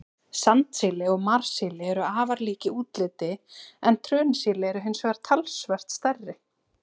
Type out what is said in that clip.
Sandsíli og marsíli eru afar lík í útliti, en trönusíli eru hins vegar talsvert stærri.